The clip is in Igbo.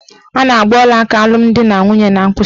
A na-agba ọlaaka alụmdinanwunye n'mkpịsịaka.